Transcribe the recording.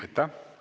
Aitäh!